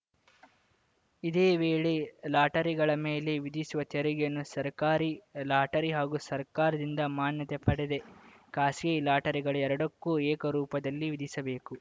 ಇದೇ ವೇಳೆ ಲಾಟರಿಗಳ ಮೇಲೆ ವಿಧಿಸುವ ತೆರಿಗೆಯನ್ನು ಸರ್ಕಾರಿ ಲಾಟರಿ ಹಾಗೂ ಸರ್ಕಾರದಿಂದ ಮಾನ್ಯತೆ ಪಡೆದ ಖಾಸಗಿ ಲಾಟರಿಗಳೆರಡಕ್ಕೂ ಏಕರೂಪದಲ್ಲಿ ವಿಧಿಸಬೇಕು